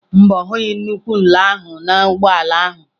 Mba, ọ hụghị nnukwu nla ahụ n'ụgbọ ala ahụ.